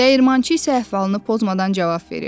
Dəyirmançı isə əhvalını pozmadan cavab verir: